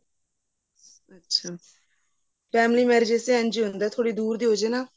ਅੱਛਾ family marriages ਚ ਏਵੇਂ ਹੀ ਹੁੰਦਾ ਥੋੜੀ ਦੁਰ ਦੀ ਹੋਜੇ ਨਾ